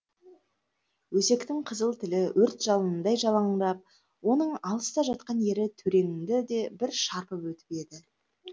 өсектің қызыл тілі өрт жалынындай жалаңдап оның алыста жатқан ері төреңді де бір шарпып өтіп еді